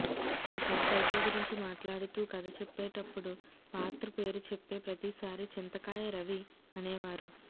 ఇక టైటిల్ గురించి మాట్లాడుతూ కథ చెప్పేటప్పుడు పాత్ర పేరు చెప్పే పత్రిసారీ చింతకాయ రవి అనేవారు